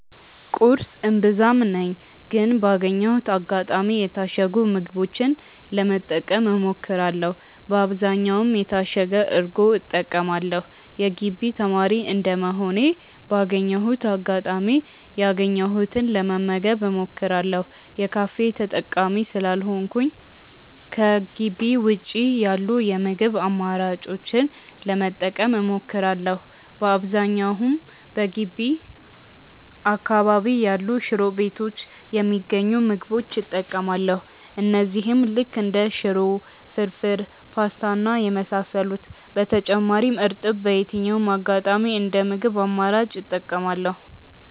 ቁርስ እምብዛም ነኝ ግን ባገኘሁት አጋጣሚ የታሸጉ ምግቦችን ለመጠቀም እሞክራለው በአብዛኛውም የታሸገ እርጎ እጠቀማለው። የግቢ ተማሪ እንደመሆኔ ባገኘሁት አጋጣሚ ያገኘሁትን ለመመገብ እሞክራለው። የካፌ ተጠቃሚ ስላልሆንኩኝ ከጊቢ ውጪ ያሉ የምግብ አማራጮችን ለመጠቀም እሞክራለው። በአብዛኛውም በገቢ አካባቢ ያሉ ሽሮ ቤቶች የሚገኙ ምግቦች እጠቀማለው እነዚህም ልክ እንደ ሽሮ፣ ፍርፉር፣ ፖስታ እና የመሳሰሉት። በተጨማሪም እርጥብ በየትኛውም አጋጣሚ እንደ ምግብ አማራጭ እጠቀማለው።